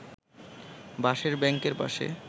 বাঁশের ব্যাংকের পাশে